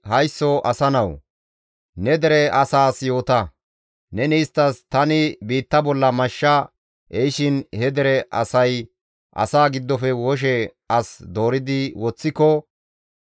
«Haysso asa nawu! Ne dere asaas yoota; neni isttas, ‹Tani biitta bolla mashsha ehishin he dere asay asaa giddofe woshe as dooridi woththiko,